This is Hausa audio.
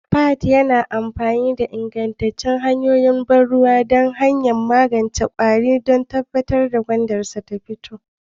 Fahad yana amfani da ingantattun hanyoyin ban ruwa da hanyoyin magance kwari don tabbatar da gwandansarsa ta fito